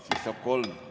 Siis saab kolm.